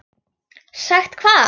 Sagt hvað?